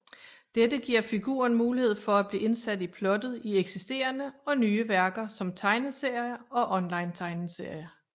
Dette giver figuren mulighed for at blive indsat i plottet i eksisterende og nye værker som tegneserier og onlinetegneserier